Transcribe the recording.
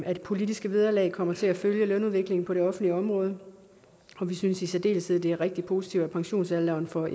at politiske vederlag kommer til at følge lønudviklingen på det offentlige område og vi synes i særdeleshed at det er rigtig positivt at pensionsalderen for